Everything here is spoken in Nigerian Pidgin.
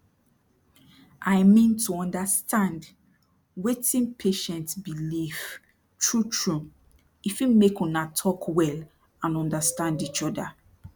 i mean to understand wetin patient belief trutru e fit make una talk wel and trust each oda